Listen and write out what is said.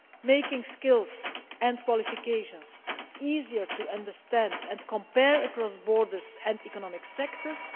making skills and qualifications easier to understand and compare across borders and economic sectors